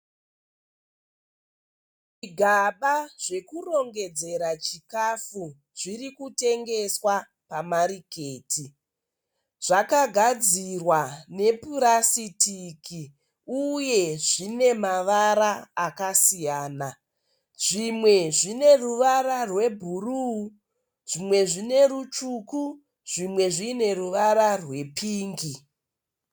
Gaba zvekurongedzera chikafu zvirikutengeswa pamariketi, zvakagadzirwa nepurasitiki uye zvimemavara akasiyana zvimwe zvineruvara rwebhuru zvimwe zvinerutsvuku zvimwe zvineruvara rwepingi.